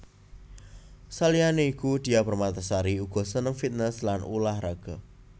Saliyané iku Diah Permatasari uga seneng fitness lan ulah raga